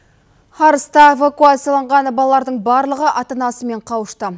арыста эвакуацияланған балалардың барлығы ата анасымен қауышты